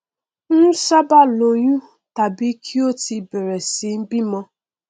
ń ṣábàá lóyún tàbí kí wọn ti bẹrẹ sí í bímọ